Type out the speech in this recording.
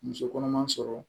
Muso kɔnɔma sɔrɔ